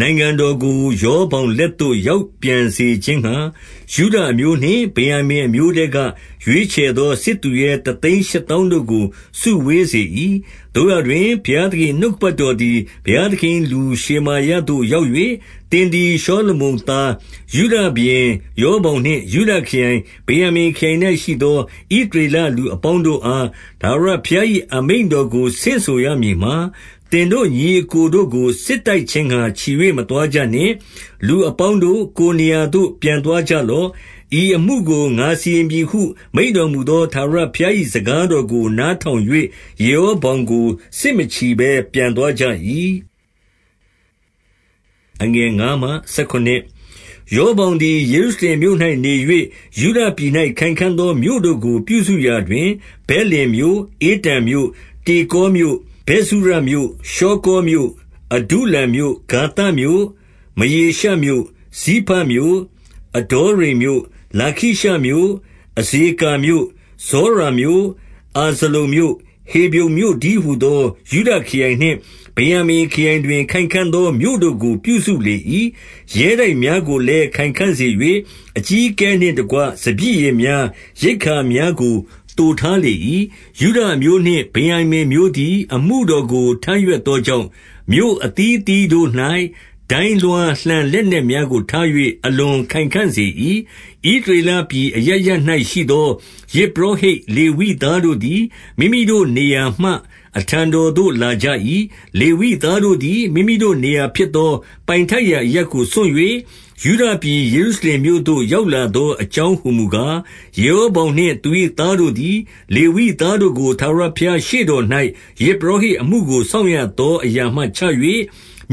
နိုင်ငံတော် ကို ရောဗောင်လက်သို့ ရောက်ပြန်စေခြင်းငှါ၊ ယုဒအမျိုး နှင့် ဗင်္ယာမိန်အမျိုးထဲက ရွေးချယ်သော စစ်သူရဲတသိန်း ရှစ်သောင်းတို့ကို စုဝေးစေ၏။ 2 သို့ရာတွင် ဘုရားသခင်၏ နှုတ်ကပတ်တော် သည် ဘုရားသခင်၏လူရှေမာယသို့ရောက်၍၊ 3 သင်သည် ရှောလမုန်သား ယုဒရှင်ဘုရင် ရော ဗောင်နှင့်ယုဒခရိုင်၊ ဗင်္ယာမိန်ခရိုင်၌ရှိသော ဣသရေလ လူအပေါင်းတို့အား ထာဝရဘုရား၏ အမိန့်တော်ကို ဆင့်ဆိုရမည်မှာ၊ 4 သင်တို့ညီအစ်ကိုတို့ကို စစ်တိုက်ခြင်းငှါ ချီ၍ မသွားကြနှင့်။ လူအပေါင်းတို့၊ ကိုယ်နေရာသို့ ပြန်သွား ကြလော့။ ဤအမှုကိုငါစီရင်ပြီဟု မိန့်တော်မူသော ထာဝရဘုရား၏ စကားတော်ကိုနားထောင်၍၊ ယေရော ဗောင်ကို စစ်မချီ၊ ပြန်သွားကြ၏။ 5 ရောဗောင်သည် ယေရုရှလင်မြို့၌နေ၍၊ ယုဒပြည် ၌ ခိုင်ခံ့သောမြို့ တို့ကိုပြုစုရာတွင်၊ 6 ဗက်လင်မြို့၊ ဧတံမြို့၊ တေကောမြို့၊ 7 ဗက်ဇုရမြို့၊ ရှောကောမြို့၊ အဒုလံမြို့၊ 8 ဂါသမြို့၊ မရေရှမြို့၊ ဇိဖမြို့၊ 9 အဒေါရိမ်မြို့၊ လာခိရှမြို့၊ အဇေကာမြို့၊ 10 ဇောရာမြို့၊ အာဇလုန်မြို့၊ ဟေဗြုန်မြို့တည်း ဟူသော ယုဒခရိုင် နှင့်ဗင်္ယာမိန်ခရိုင်တွင် ခိုင်ခံ့သော မြို့တို့ကို ပြုစုလေ၏။ 11 ရဲတိုက်များကိုလည်း ခိုင်ခံ့စေ၍၊ အကြီးအကဲ နှင့်တကွ ဆီ၊ စပျစ်ရည်များ၊ ရိက္ခာများကို သိုထားလေ၏။ 12 ယုဒအမျိုးနှင့် ဗင်္ယာမိန်အမျိုးသည် အမှုတော် ကို ထမ်းရွက်သောကြောင့်၊ မြို့အသီးအသီးတို့၌ ဒိုင်းလွှား လှံလက်နက်များကို ထား၍ အလွန်ခိုင်ခံ့စေ၏။ 13 ဣသရေလပြည် အရပ်ရပ်၌ရှိသော ယဇ် ပုရောဟိတ်လေဝိသားတို့သည်၊ မိမိတို့နေရာမှ အထံတော် သို့လာကြ၏။ 14 လေဝိသားတို့သည်၊ မိမိတို့နေရာဖြစ်သော ပိုင်ထိုက်ရာအရပ်ကို စွန့်၍၊ ယုဒပြည်ယေရုရှင်မြို့သို့ ရောက်လာသောအကြောင်းဟူမူကား၊ ယေရောဗောင်နှင့် သူ၏သားတို့သည်၊ လေဝိသားတို့ကို ထာဝရဘုရား ရှေ့တော်၌ ယဇ်ပုရောဟိတ်အမှုကို စောင့်ရသောအရာမှ ချ၍၊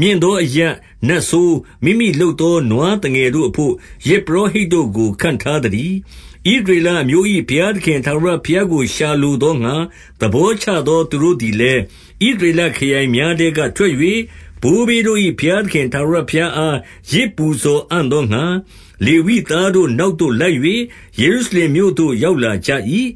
15 မြင့်သောအရပ်၊ နတ်ဆိုး၊ မိမိလုပ်သော နွား သငယ်တို့အဘို့၊ ယဇ်ပုရောဟိတ်တို့ကို ခန့်ထားသတည်း။ 16 ဣသရေလအမျိုး၏ ဘုရားသခင် ထာဝရဘုရား ကို ရှာလိုသောငှါ၊ သဘောချသော သူတို့သည်လည်း၊ ဣသရေလခရိုင်များထဲက ထွက်၍၊ ဘိုးဘေးတို့၏ ဘုရားသခင် ထာဝရဘုရားအား ယဇ်ပူဇော်အံ့သောငှါ၊ လေဝိသားတို့နောက်သို့လိုက်၍၊ ယေရုရှလင်မြို့သို့ ရောက်လာကြ၏။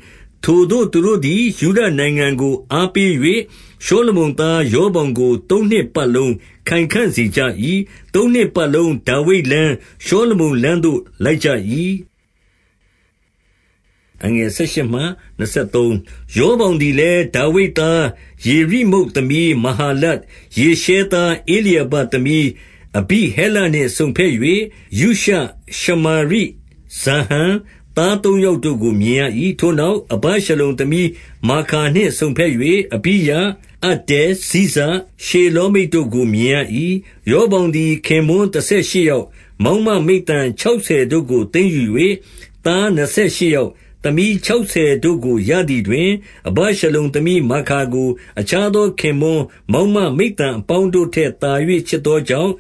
17 ထိုသူတို့သည် ယုဒနိုင်ငံကို အားပေး၍ ရှော လမုန်သား ရောဗောင်ကို သုံးနှစ်ပတ်လုံးခိုင်ခံ့စေကြ၏။ သုံးနှစ်ပတ်လုံး ဒါဝိဒ်လမ်း၊ ရှောလမုန်လမ်းသို့ လိုက်ကြ ၏။ 18 ရောဗောင်သည်လည်း ဒါဝိဒ်သား ယေရိမုတ် သမီး မဟာလတ်၊ ယေရှဲသား ဧလျာဘသမီး အဘိဟဲလ နှင့်စုံဘက်၍၊ 19 ယုရှ၊ ရှမာရိ၊ ဇာဟံ၊ သားသုံးယောက်တို့ကို မြင်ရ၏။ 20 ထိုနောက်၊ အဗရှလုံသမီးမာခါနှင့်စုံဘက်၍ အဘိယ၊ အတ္တဲ၊ ဇိဇ၊ ရှေလောမိတ်တို့ကို မြင်ရ၏။ 21 ရောဗောင်သည် ခင်ပွန်းတဆယ်ရှစ်ယောက်၊ ဗမာင်းမမိဿံ ခြောက်ဆယ်တို့ကို သိမ်းယူ၍၊ သားနှစ် ဆယ်ရှစ်ယောက်၊ သမီးခြောက်ဆယ်တို့ကို ရသည်တွင်၊ အဗရှလုံသမီးမာခါကို အခြားသောခင်ပွန်း မောင်းမ မိဿံအပေါင်းတို့ထက်သာ၍ ချစ်သောကြောင့်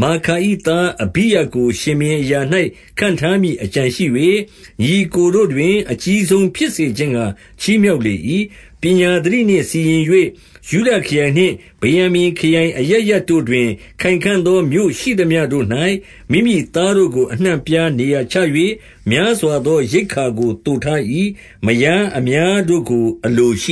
၊ 22 မာခါ၏ သားအဘိယကို ရှင်ဘုရင်အရာ၌ ခန့် ထားမည်အကြံရှိ၍၊ ညီအစ်ကိုတို့တွင်၊ အကြီးဆုံးဖြစ်စေ ခြင်းငှါ ချီးမြှောက်လေ၏။ 23 ပညာသတိနှင့်စီရင်၍၊ ယုဒခရိုင်ဗင်္ယာမိန်ခရိုင် အရပ်ရပ်တို့တွင်၊ ခိုင်ခံ့သောမြို့ရှိသမျှတို့၌၊ မိမိသားတို့ကို အနှံ့အပြားနေရာချ၍၊ များစွာသောရိက္ခာကို သိုထား၏။ မယားများတို့ကို အလိုရှိ